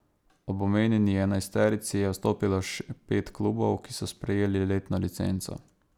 Ob omenjeni enajsterici je vstopilo še pet klubov, ki so prejeli letno licenco.